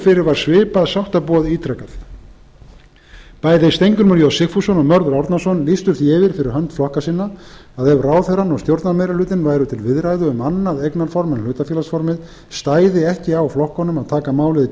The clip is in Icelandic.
fyrir var svipað sáttaboð ítrekað bæði steingrímur j sigfússon og mörður árnason lýstu því yfir fyrir hönd flokka sinna að ef ráðherrann og stjórnarmeirihlutinn væru til viðræðu um annað eignarform en hlutafélagsformið stæði ekki á flokkunum að taka málið